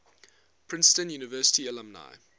princeton university alumni